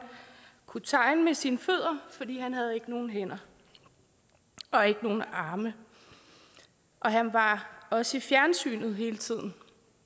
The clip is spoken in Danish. kunne tegne med sine fødder fordi han ikke havde nogen hænder og ikke nogen arme og han var også i fjernsynet hele tiden